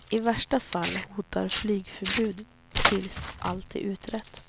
I värsta fall hotar flygförbud tills allt är utrett.